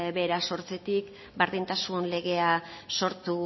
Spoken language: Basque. bera sortzetik berdintasun legea sortu